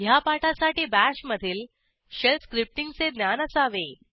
ह्या पाठासाठी BASHमधील शेल स्क्रिप्टींगचे ज्ञान असावे